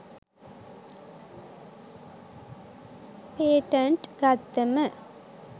patent ගත්තම